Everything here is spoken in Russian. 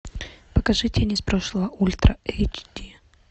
покажи тень из прошлого ультра эйч ди